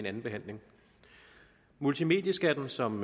andenbehandling multimedieskatten som